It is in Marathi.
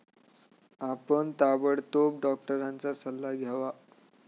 आपण ताबडतोब डॉक्टरांचा सल्ला घ्यावा.